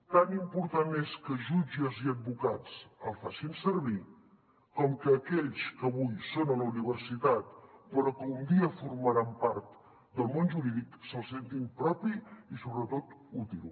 tan important és que jutges i advocats el facin servir com que aquells que avui són a la universitat però que un dia formaran part del món jurídic se’l sentin propi i sobretot útil